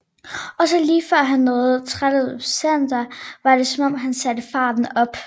Og så lige før han nåede Trade Center var det som om han satte farten op